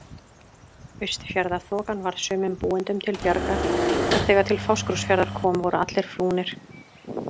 Austfjarðaþokan varð sumum búendum til bjargar og þegar til Fáskrúðsfjarðar kom voru allir flúnir.